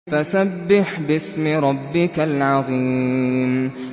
فَسَبِّحْ بِاسْمِ رَبِّكَ الْعَظِيمِ